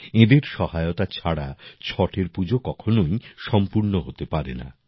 এঁদের সহায়তা ছাড়া ছটের পূজা কখনই সম্পূর্ণ হতে পারে না